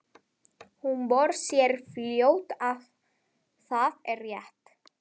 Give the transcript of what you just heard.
Og hún sér fljótt að það er rétt.